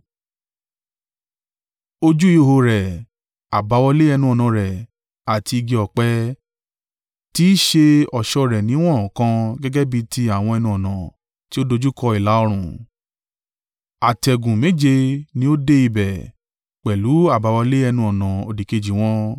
Ojú ihò rẹ̀, àbáwọlé ẹnu-ọ̀nà rẹ̀ àti igi ọ̀pẹ tí í ṣe ọ̀ṣọ́ rẹ̀ ni wọn kàn gẹ́gẹ́ bí tí àwọn ẹnu-ọ̀nà tí ó dojúkọ ìlà-oòrùn. Àtẹ̀gùn méje ní ó dé ibẹ̀, pẹ̀lú àbáwọlé ẹnu-ọ̀nà òdìkejì wọn.